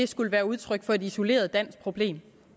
skulle være udtryk for et isoleret dansk problem